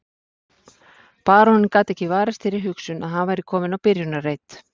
Baróninn gat ekki varist þeirri hugsun að hann væri kominn á byrjunarreit.